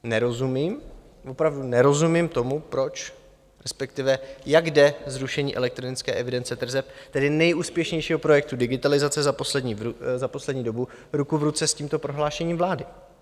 Nerozumím, opravdu nerozumím tomu, proč, respektive jak jde zrušení elektronické evidence tržeb, tedy nejúspěšnějšího projektu digitalizace za poslední dobu, ruku v ruce s tímto prohlášení vlády.